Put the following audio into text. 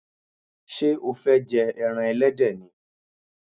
Sé o fé je eran elédè ni?